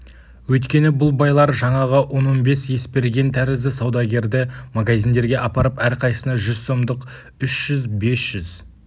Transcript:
өйткені бұл байлар жаңағы он-он бес есберген тәрізді саудагерді магазиндерге апарып әрқайсысына жүз сомдық үш жүз бес жүз